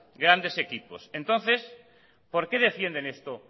grandes equipos entonces por qué defienden estos